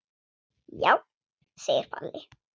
Já, segir Palli.